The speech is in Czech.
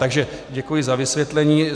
Takže děkuji za vysvětlení.